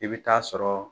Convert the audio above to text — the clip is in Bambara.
I bɛ taa sɔrɔ